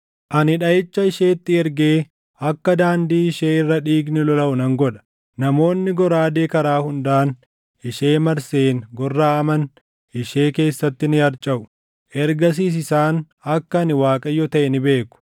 Ani dhaʼicha isheetti ergee akka daandii ishee irra dhiigni lolaʼu nan godha. Namoonni goraadee karaa hundaan ishee marseen gorraʼaman ishee keessatti ni harcaʼu. Ergasiis isaan akka ani Waaqayyo taʼe ni beeku.